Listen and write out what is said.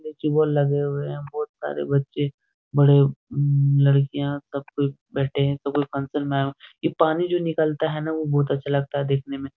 लगे हुए है बहुत सारे बच्चे बड़े उम लड़कियां सब कोई बैठे हैं तो कोई फंक्शन में आये हैं ये पानी जो निकलता हैना वो बहुत अच्छा लगता है देखने में।